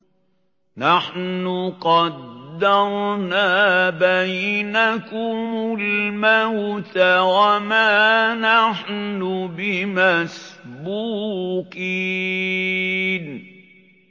نَحْنُ قَدَّرْنَا بَيْنَكُمُ الْمَوْتَ وَمَا نَحْنُ بِمَسْبُوقِينَ